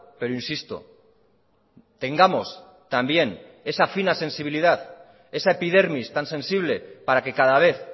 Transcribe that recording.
pero insisto tengamos también esa fina sensibilidad esa epidermis tan sensible para que cada vez